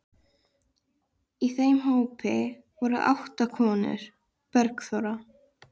Í þeim hópi voru átta konur: Bergþóra